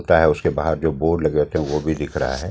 होता है उसके बाहर जो बोर्ड लगे होते हैं वो भी दिख रहा है।